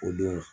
O don